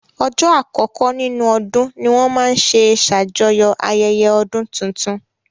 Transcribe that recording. Ọjọ́ àkọkọ́ nínú ọdún ní wọ́n máa n ṣe ṣàjọyọ̀ ayẹyẹ ọdún tuntun